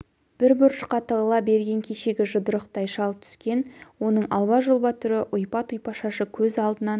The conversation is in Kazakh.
бір бұрышқа тығыла берген кешегі жұдырықтай шал түскен оның алба-жұлба түрі ұйпа-тұйпа шашы көз алдынан